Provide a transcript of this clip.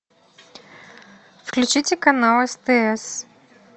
включите канал стс